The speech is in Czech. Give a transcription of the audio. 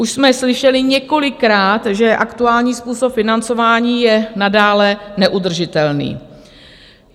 Už jsme slyšeli několikrát, že aktuální způsob financování je nadále neudržitelný.